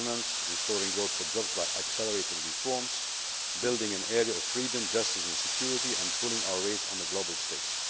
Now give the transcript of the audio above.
governance, restoring growth and jobs by accelerating reforms, building an area of freedom, justice and security, and pulling our weight on the global stage.